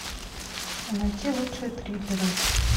найти лучшие триллеры